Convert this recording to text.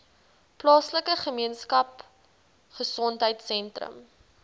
plaaslike gemeenskapgesondheid sentrum